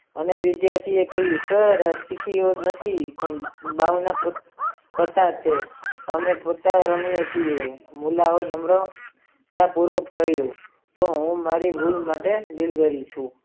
અને વિધાથી ઓ એ કહ્યું સર આ ચીઠી અમારી નથી અને અમે પત્તા રમીયે છીએ તો સર કહ્યું હું મારુ કામ કરું છું.